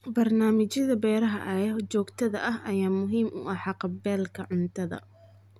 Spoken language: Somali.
Barnaamijyada beeraha ee joogtada ah ayaa muhiim u ah haqab-beelka cuntada.